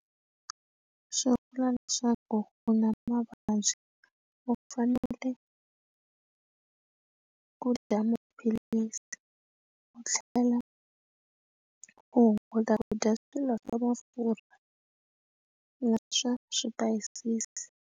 Swi vula leswaku u na mavabyi u fanele ku dya maphilisi u tlhela u hunguta kudya swilo swa mafurha na swa swipayisisi.